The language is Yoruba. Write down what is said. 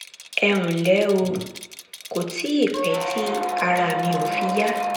ẹ ǹlẹ́ o kò tíì pẹ́ tí ara mi ò fi yá